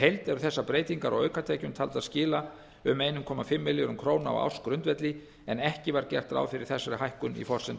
eru þessar breytingar á aukatekjum taldar skila um einn komma fimm milljörðum króna á ársgrundvelli en ekki var gert ráð fyrir þessari hækkun í forsendum